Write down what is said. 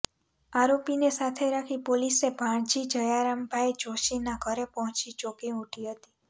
આરોપીને સાથે રાખી પોલીસે ભાણજી જયરામભાઈ જોષીના ઘરે પહોંચી ચોંકી ઉઠી હતી